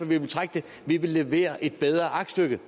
vi vil trække det vi vil levere et bedre aktstykke